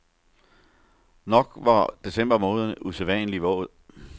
Nok var december måned usædvanlig våd.